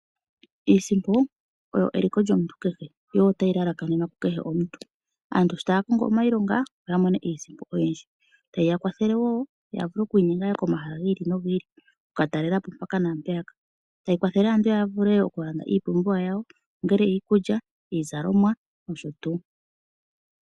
Iisimpo oyo eliko lyomuntu kehe yo oyo tayi lalakanenwa kukehe omuntu. Aantu sho taya kongo iilonga opo ya mone iisimpo oyindji tayi yakwathele opo yavule yaye komahala gi ili nogi ili oku katalelapo mpaka naampeyaka. Tayi kwathele aantu yavule okulanda iipumbiwa yawo ongele iikulya ,iizalomwa nosho tuu.